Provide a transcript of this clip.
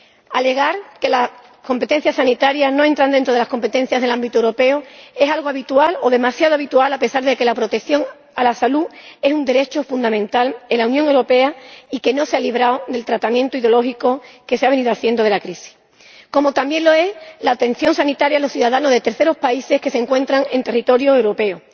Alegar que las competencias sanitarias no entran dentro de las competencias del ámbito europeo es algo habitual, o demasiado habitual, a pesar de que la protección de la salud es un derecho fundamental en la Unión Europea y de que no se ha librado del tratamiento ideológico que se ha venido haciendo de la crisis, como también es un derecho fundamental la atención sanitaria a los ciudadanos de terceros países que se encuentran en territorio europeo.